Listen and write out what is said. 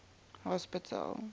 hospital